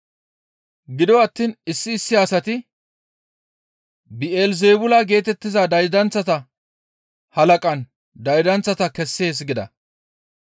Gido attiin issi issi asati, «Bi7elizeebula geetettiza daydanththata halaqan daydanththata kessees» gida.